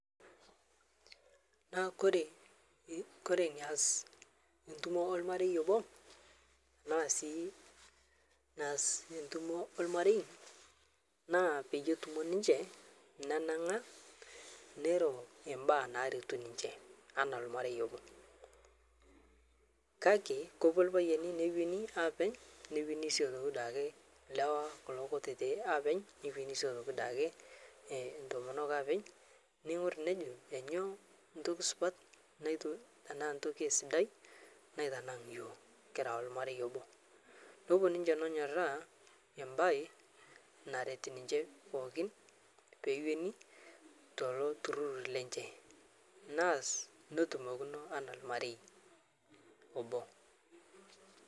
Naa kore, kore neas ntumo olmarei oboo anaa sii neas ntumoo olmarei naa peyie etumo ninshe nenang'a neiro embaa naretu ninshe ana elmarei oboo kakee kopuo lpayeni newenii aapeny newenii sii otoki duake lewa kuloo kutitii apeny newenii sii otoki duake entomok apeny neingur nejoo nyo ntoki supat netu anaa ntoki sidai naitanang' yooh kira elmarei oboo nopuo ninshe nonyoraa embai naret ninshe pookin peeweni toloo turur lenshe naas notumokinoo anaa lmarei oboo.